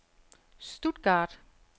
Stuttgart